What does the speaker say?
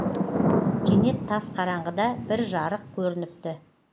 кенет тас қараңғыда бір жарық көрініпті